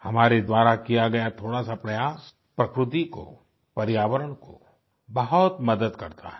हमारे द्वारा किया गया थोड़ा सा प्रयास प्रकृति को पर्यावरण को बहुत मदद करता है